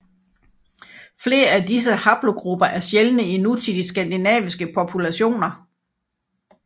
Flere af disse haplogrupper er sjældne i nutidige skandinaviske populationer